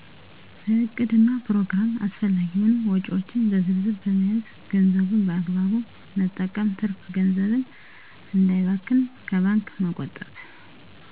በዕቅድና ፕሮግራም አስፈላጊ የሆኑ ወጭዎች በዝርዝ በመያዝ ገንዘቡን በአግባቡ መጠቀም ትርፍ ገንዘብን እንዳይባክን ከባንክ መቆጠብ